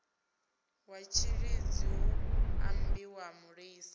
wa tshilidzi hu ambiwa mulisa